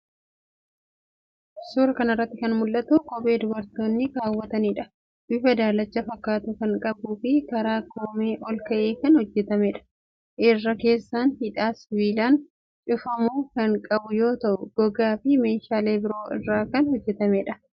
Suuraa kana irratti kan mul'atu kophee dubartoonni keewwataniidha. Bifa daalacha fakkaatu kan qabuufi karaa koomee ol ka'ee kan hojjetameedha. Irra keessaan hidhaa sibiilaan cufamu kan qabu yoo ta'u gogaa fi meeshaalee biroo irraa kan hojjetameedha.